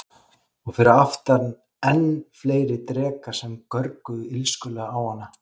Og fyrir aftan enn fleiri drekar sem görguðu illskulega á hana.